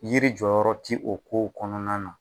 Yiri jɔyɔrɔ ti o kow kɔnɔna na